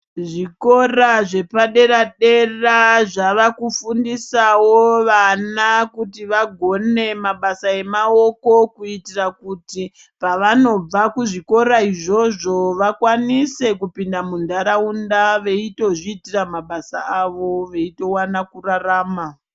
Zvikora zvepadera dera zvavakufundisawo vana kuti vaone mabasa emaoko kuitira kuti pavanobva kuzvikora izvozvo vakwanise kupinda munharaunda veitozviitirs mabasa awo veiwana kurarama.